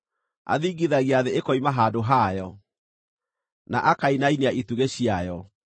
Athingithagia thĩ ĩkoima handũ hayo, na akainainia itugĩ ciayo.